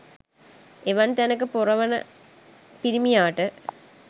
එවන් තැනක පොර වන පිරිමියාට